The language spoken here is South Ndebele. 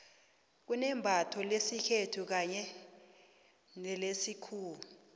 kunembatho lesikhethu kanye nelesikhuwa